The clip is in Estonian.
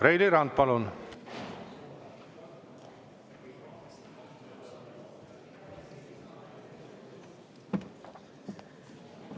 Reili Rand, palun!